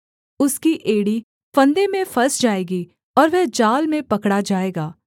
उसकी एड़ी फंदे में फँस जाएगी और वह जाल में पकड़ा जाएगा